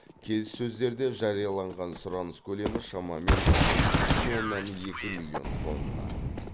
келіссөздерде жарияланған сұраныс көлемі шамамен үш бүтін оннан екі миллион тонна